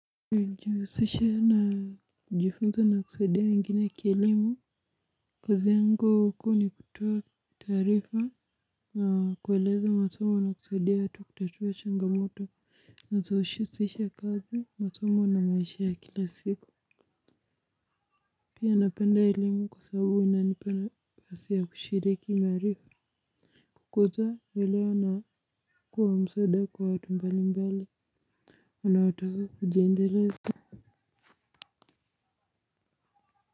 Hujihusisha na kujifunza na kusaidia wengine kielimu. Kazi yangu kuu ni kutoa taarifa na kueleza masomo na kusaidia watu kutatua changamoto zinazohusisha kazi masomo na maisha ya kila siku poa napenda elimu kwa sababu inanipa nafasi ya kushiriki maarifa. Kukoza leleo na kuwa msaada kwa watu mbali mbali wanaotaka kujiendeleza. Kwa hivyo.